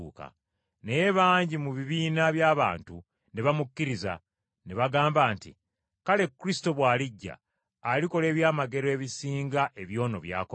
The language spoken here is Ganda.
Naye bangi mu bibiina by’abantu ne bamukkiriza, ne bagamba nti, “Kale Kristo bw’alijja, alikola eby’amagero ebisinga eby’ono byakoze?”